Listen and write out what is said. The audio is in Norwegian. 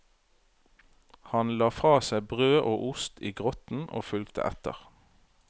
Han la fra seg brød og ost i grotten og fulgte etter.